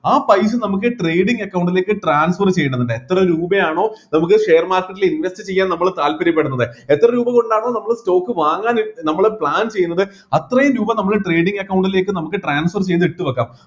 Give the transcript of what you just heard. ആ പൈസ നമ്മക്ക് trading account ലേക്ക് transfer ചെയ്യണമെന്നുണ്ട് എത്ര രൂപയാണോ നമുക്ക് share market ൽ invest ചെയ്യാൻ നമ്മള് താൽപര്യപെടുന്നത് എത്ര രൂപകൊണ്ടാണോ നമ്മള് stock വാങ്ങാൻ നമ്മള് plan ചെയ്യുന്നത് അത്രയും രൂപ നമ്മള് trading account ലേക്ക് നമ്മക്ക് transfer ചെയ്‌ത്‌ ഇട്ടുവെക്കാം